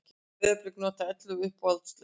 Breiðablik notaði ellefu uppalda leikmenn